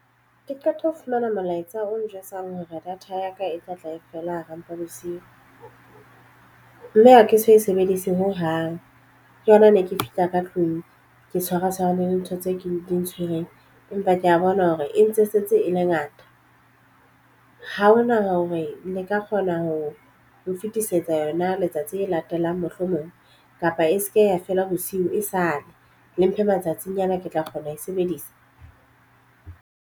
Ke qeta ho fumana molaetsa o njwetsang hore data ya ka e tla tla e fela hara mpa bosiu mme ha ke so e sebedise ho hang. Ke yona ne ke fihla ka tlung ke tshwara tshwarane le ntho tse ke di ntshwereng. Empa ke ya bona hore e ntse e setse e le ngata ha ho na hore le ka kgona ho ho fetisetsa yona letsatsi le latelang mohlomong kapa e se ke ya fela bosiu e sale le mphe matsatsinyana ke tla kgona ho e sebedisa.